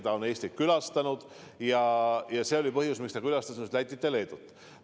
Ta on Eestit juba külastanud ja see oligi põhjus, miks ta külastas nüüd Lätit ja Leedut.